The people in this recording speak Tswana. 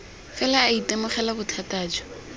fela a itemogela bothata jo